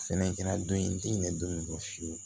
Fɛnɛ kɛra don in n tɛ ɲinɛ don min na fiyewu